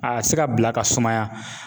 A ka se ka bila ka sumaya